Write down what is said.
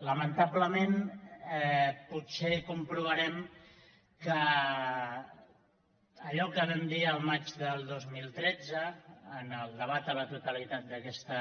lamentablement potser comprovarem que allò que vam dir el maig del dos mil tretze en el debat a la totalitat d’aquesta